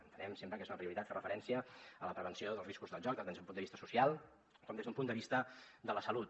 entenem sempre que és una prioritat fer referència a la prevenció dels riscos del joc tant des d’un punt de vista social com des d’un punt de vista de la salut